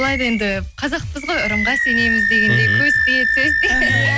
былай да енді қазақпыз ғой ырымға сенеміз дегендей көз тиеді сөз тиеді